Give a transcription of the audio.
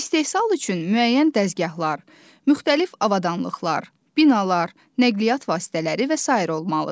İstehsal üçün müəyyən dəzgahlar, müxtəlif avadanlıqlar, binalar, nəqliyyat vasitələri və sair olmalıdır.